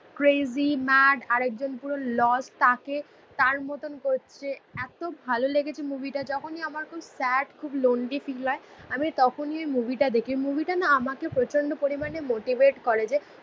পুরো crazy mad. আরেকজন পুরো লস তাকে. তার মতন করছে. এতো ভালো লেগেছে মুভিটা. যখনই আমার খুব স্যাড. খুব লোনলি ফিল হয়. আমি তখনই এই মুভিটা দেখে. মুভিটা না আমাকে প্রচন্ড পরিমাণে মোটিভেট করে যে